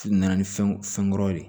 Na ni fɛnw fɛn kuraw ye